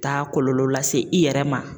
Taa kɔlɔlɔ lase i yɛrɛ ma